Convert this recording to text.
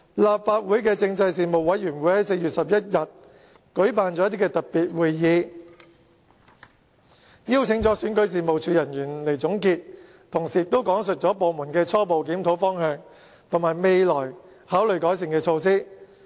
立法會政制事務委員會在4月11日舉辦了特別會議，邀請選舉事務處人員來交代，他們同時亦講述了部門的初步檢討方向及考慮採取的改善措施。